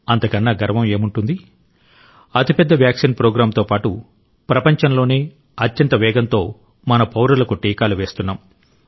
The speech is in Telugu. అంతకన్నా గర్వం ఏముంటుంది అతిపెద్ద వ్యాక్సిన్ ప్రోగ్రామ్తో పాటు ప్రపంచంలోనే అత్యంత వేగంతో మన పౌరులకు టీకాలు వేస్తున్నాం